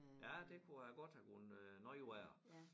Ja det kunne have godt have gået øh noget værre